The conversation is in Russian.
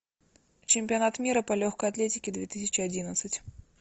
чемпионат мира по легкой атлетике две тысячи одиннадцать